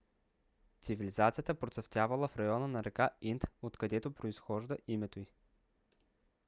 цивилизацията процъфтявала в района на река инд откъдето произхожда името ѝ